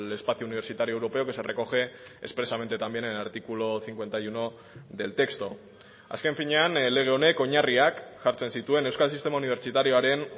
espacio universitario europeo que se recoge expresamente también en el artículo cincuenta y uno del texto azken finean lege honek oinarriak jartzen zituen euskal sistema unibertsitarioaren